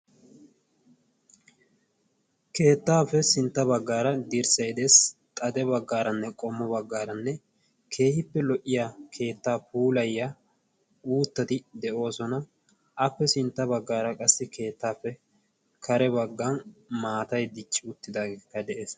Keettaappe sintta baggaara dirssay dees xade baggaaranne qommo baggaaranne keehippe lo''iya keettaa puulayya uuttati de'oosona appe sintta baggaara qassi keettaappe kare baggan maatay dichchi uttidaageekka de'ees